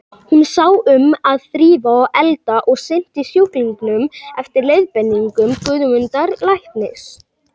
Hún sá um að þrífa og elda og sinnti sjúklingnum eftir leiðbeiningum Guðmundar læknis.